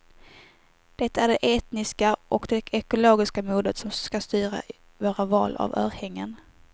Det är det etniska och det ekologiska modet som ska styra våra val av örhängen.